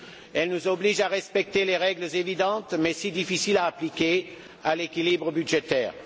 Elle nous oblige à respecter les règles évidentes, mais si difficiles à appliquer, de l'équilibre budgétaire.